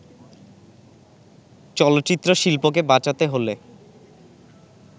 চলচ্চিত্রশিল্পকে বাঁচাতে হলে